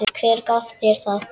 Hver gaf þér það?